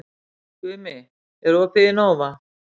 Gumi, er opið í Nova?